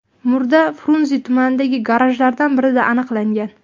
Murda Frunze tumanidagi garajlardan birida aniqlangan.